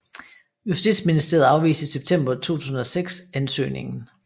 Justitsministeriet afviste i september 2006 ansøgningen